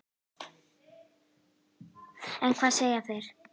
En hvað segja þeir?